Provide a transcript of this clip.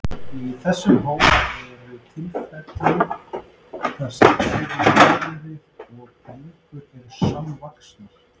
Í þessum hópi eru tilfelli þar sem bæði höfuð og bringur eru samvaxnar.